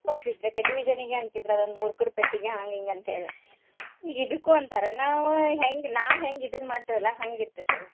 Television ಗೆ ಅಂತಿದ್ರ ಆವಾಗ್ ಮೂರ್ಖರ್ ಪೆಟ್ಟಿಗಿ ಹಾಂಗ್ ಹಿಂಗ್ ಅಂತ ಹೇಳಿ ಈಗ ಇದಕ್ಕೂ ಅಂತಾರ್ ನಾವ್ ಹೆಂಗ್ ನಾವ್ ಹೆಂಗ್ ಇದನ್ನ ಮಾಡ್ತೇವ್ಲಾ ಹಂಗ್ ಇರ್ತೇತಾದ್.